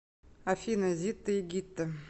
афина зитта и гитта